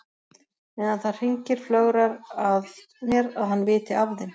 Meðan það hringir flögrar að mér að hann viti af þeim.